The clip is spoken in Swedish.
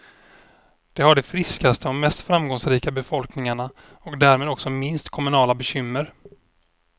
De har de friskaste och mest framgångsrika befolkningarna och därmed också minst kommunala bekymmer.